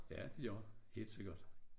Ja det gør helt sikkert